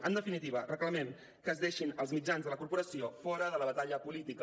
en definitiva reclamem que es deixin els mitjans de la corporació fora de la batalla política